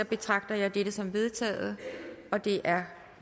betragter jeg dette som vedtaget det er